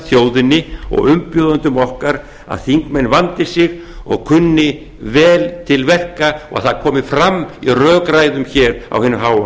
þjóðinni og umbjóðendum okkar að þingmenn vandi sig og kunni vel til verka og það komi fram í rökræðum á hinu háa